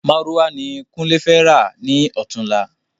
Márúwá ni kunle fẹ rà ni ọ̀túnla